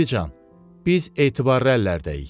Bibican, biz etibarlı əllərdəyik.